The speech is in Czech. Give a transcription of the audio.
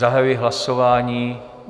Zahajuji hlasování.